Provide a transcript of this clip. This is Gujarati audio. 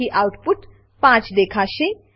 જેથી આઉટપુટ 5 દેખાશે